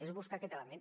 és buscar aquest element